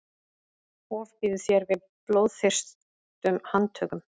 ofbýður þér við blóðþyrstum handtökum